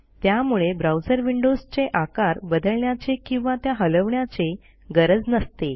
त्यामुळे ब्राऊजर विंडोजचे आकार बदलण्याचे किंवा त्या हलवण्याचे गरज नसते